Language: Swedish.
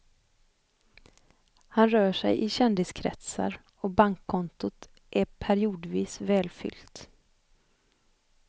Han rör sig i kändiskretsar och bankkontot är periodvis välfyllt.